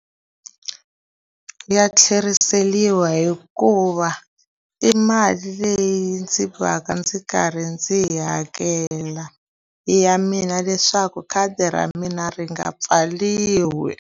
Ya tlheriseriwa hikuva i mali leyi ndzi va ka ndzi karhi ndzi yi hakela, i ya mina leswaku khadi ra mina ri nga pfariwi.